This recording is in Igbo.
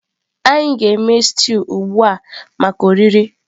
anyị na-eme stew ugbu a maka oriri.